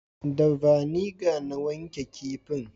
Da vaniga na wanke kifin